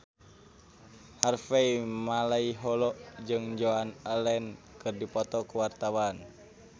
Harvey Malaiholo jeung Joan Allen keur dipoto ku wartawan